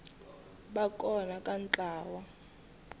va kona ka ntlawa wa